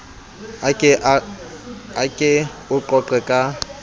a ke o qoqe ka